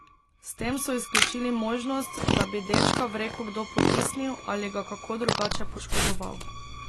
S tem so izključili možnost, da bi dečka v reko kdo potisnil ali ga kako drugače poškodoval.